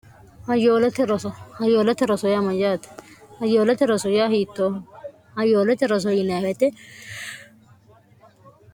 hayyoolote roso yaa mayyaate ayyoolote roso yaa hiittoo ayyoolote roso yinaawete